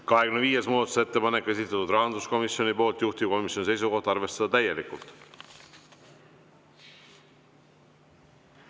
25. muudatusettepaneku on esitanud rahanduskomisjon, juhtivkomisjoni seisukoht on arvestada täielikult.